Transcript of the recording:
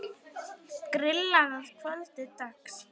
Grillað að kvöldi dags.